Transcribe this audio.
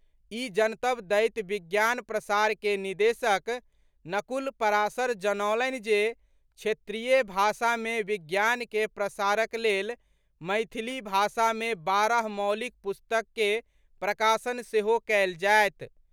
ई जनतब दैत विज्ञान प्रसार के निदेशक नकुल पराशर जनौलनि जे क्षेत्रीय भाषा मे विज्ञान के प्रसारक लेल मैथिली भाषा मे बारह मौलिक पुस्तक के प्रकाशन सेहो कयल जायत।